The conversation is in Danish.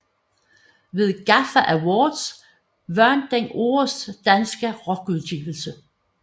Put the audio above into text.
Ved Gaffa Awards vandt den Årets danske rockudgivelse